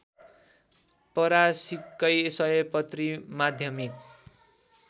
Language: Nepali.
परासीकै सयपत्री माध्यमिक